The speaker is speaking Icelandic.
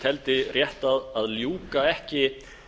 teldi rétt að ljúka ekki